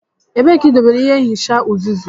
Ebee ka idobere ịhe nhicha uzuzu.